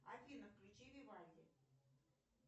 афина включи вивальди